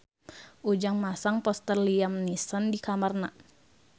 Ujang masang poster Liam Neeson di kamarna